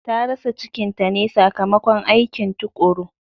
Ta rasa cikinta ne sakamakon aikin tukuru.